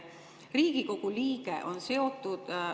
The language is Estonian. Riigikogu liige on seotud …